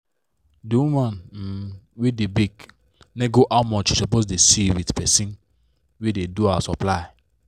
d woman um wey da bake nego how much she suppose da see with person wey da do her supply